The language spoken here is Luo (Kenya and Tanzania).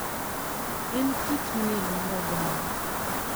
En kit miel mar oganda.